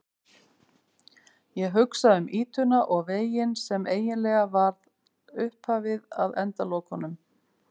Ég hugsa um ýtuna og veginn sem eiginlega var upphafið að endalokunum.